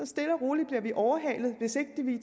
stille og roligt overhalet hvis ikke vi